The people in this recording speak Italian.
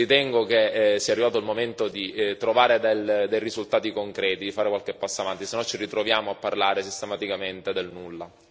Ritengo che sia arrivato il momento di trovare dei risultati concreti, di fare qualche passo avanti, se no ci ritroviamo a parlare sistematicamente del nulla.